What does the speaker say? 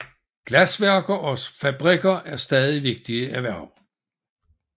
Glasværksteder og fabrikker er stadig vigtige erhverv